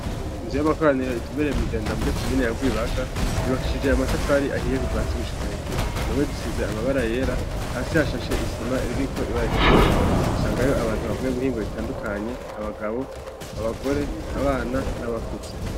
Inzu y'amakoraniro itumbereye mw'i Jenda muri komine ya Rwibaga yubakishije amatafari ahiye kuva hasi gushika hejuru, impome zisize amabara yera, hasi hashashe isima iriko ibara ritukura, usangayo abantu bavuye mu mihingo itandukanye, abagabo, abagore, abana, n'abakuze.